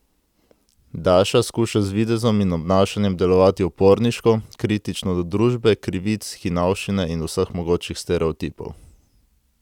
Daša skuša z videzom in obnašanjem delovati uporniško, kritično do družbe, krivic, hinavščine in vseh mogočih stereotipov.